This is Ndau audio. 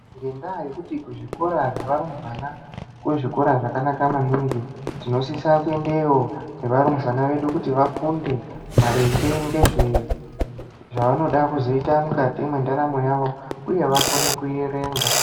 Ngendaa yekuti kuzvikora zvevarumbwana kuzvikora kwakanaka maningi tinosisa kuendayo nevarumbwana vedu kuti vafunde maringe ngezve zvavanoda kuzoita mukati mwendaramo yawo uye vakone kuerenga.